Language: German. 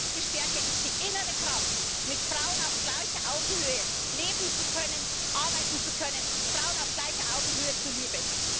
Echte Stärke ist die innere Kraft, mit Frauen auf gleicher Augenhöhe leben zu können, arbeiten zu können, Frauen auf gleicher Augenhöhe zu lieben.